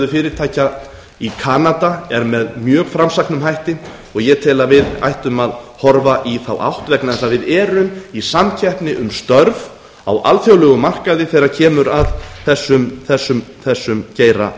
fyrirtækja í kanada er með mjög framsæknum hætti og ég tel að við ættum að horfa í þá átt vegna þess að við erum í samkeppni um störf á alþjóðlegum markaði þegar kemur að þessum geira